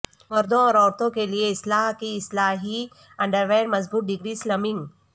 مردوں اور عورتوں کے لئے اصلاح کی اصلاحی انڈرویر مضبوط ڈگری سلمنگ